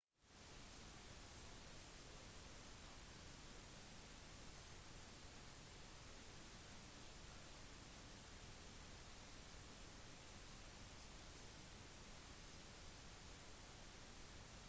san francisco har skapt en større infrastruktur for turisme med tallrike hoteller restauranter og førsteklasses konvensjonsanlegg